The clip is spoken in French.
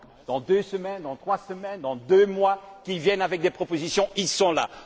Dans deux semaines, dans trois semaines, dans deux mois, qu'ils viennent avec des propositions? Ils sont là.